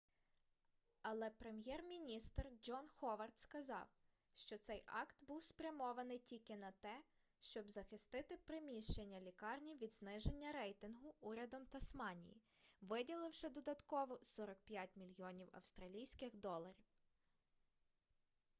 але прем'єр-міністр джон ховард сказав що цей акт був спрямований тільки на те щоб захистити приміщення лікарні від зниження рейтингу урядом тасманії виділивши додатково 45 мільйонів австралійських доларів